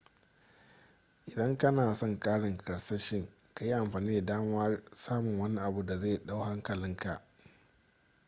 idan kana son karin karsashi ka yi amfani da damar samun wani abu da zai dau hankalinkaa